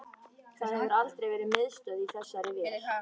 Það hefur aldrei verið miðstöð í þessari vél